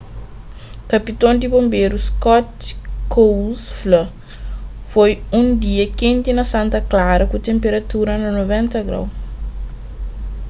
kapiton di bonberu scott kouns fla: foi un dia kenti na santa clara ku tenperatura na 90º